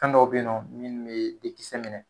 Kan dɔw be yen nɔn minnu me dekisɛ minɛ.